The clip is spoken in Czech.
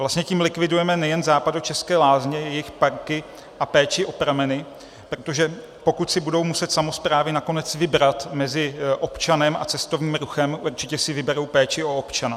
Vlastně tím likvidujeme nejen západočeské lázně, jejich parky a péči o prameny, protože pokud si budou muset samosprávy nakonec vybrat mezi občanem a cestovním ruchem, určitě si vyberou péči o občana.